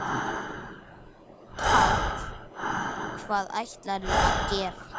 Páll: Hvað ætlarðu að gera?